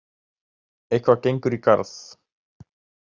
Eitthvað gengur í garð